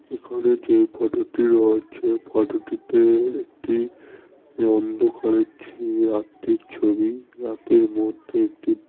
এখানে যে ফটো -টি রয়েছে ফটো -টিতে-এ একটি অন্ধকারের চেয়ে রাত্রি ছবি রাতের মধ্যে একটি--